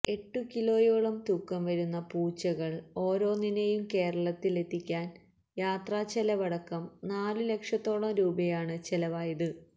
എട്ടുകിലോയോളം തൂക്കംവരുന്ന പൂച്ചകൾ ഓരോന്നിനെയും കേരളത്തിലെത്തിക്കാൻ യാത്രച്ചെലവടക്കം നാലുലക്ഷത്തോളം രൂപയാണ് ചെലവായത്